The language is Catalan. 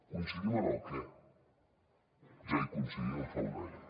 coincidim en el què ja hi coincidíem fa un any